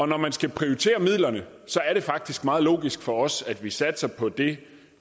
når man skal prioritere midlerne er det faktisk meget logisk for os at vi satser på det